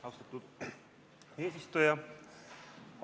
Austatud eesistuja!